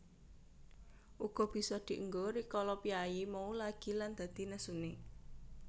Uga bisa dienggo rikala piyayi mau lagi lan dadi nesune